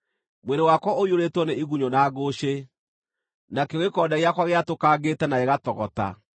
Mwĩrĩ wakwa ũiyũrĩtwo nĩ igunyũ na ngũcĩ, nakĩo gĩkonde gĩakwa gĩatũkangĩte na gĩgatogota.